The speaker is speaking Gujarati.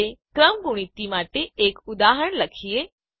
હવે ક્રમગુણિત ફેક્ટોરીયલ માટે એક ઉદાહરણ લખીએ